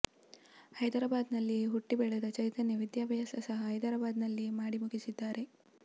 ಹೈದರಾಬಾದ್ ನಲ್ಲಿಯೆ ಹುಟ್ಟಿ ಬೆಳೆದ ಚೈತನ್ಯ ವಿದ್ಯಾಭ್ಯಾಸ ಸಹ ಹೈದರಾಬಾದ್ ನಲ್ಲಿಯೆ ಮಾಡಿ ಮುಗಿಸಿದ್ದಾರೆ